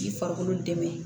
K'i farikolo dɛmɛ